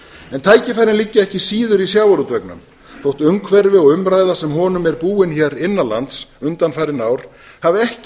en tækifærin liggja ekki síður í sjávarútveginum þó umhverfi og umræða sem honum er búin hér innan lands undanfarin ár hafi ekki